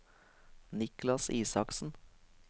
Niklas Isaksen